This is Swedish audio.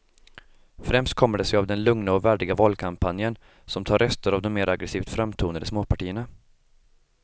Främst kommer det sig av den lugna och värdiga valkampanjen som tar röster av de mer aggresivt framtonade småpartierna.